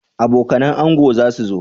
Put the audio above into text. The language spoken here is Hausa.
Abokanan ango zasu zo?